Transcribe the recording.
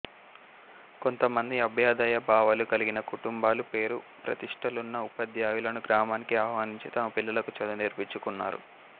కొంతమంది అభ్యదయ భావాలూ కలిగిన కుటుంబాలు పేరు ప్రతిష్ఠలున్న ఉపాధ్యాయులను గ్రామానికి ఆహ్వానించి తమ పిల్లలకు చదువు చెప్పించుకున్నారు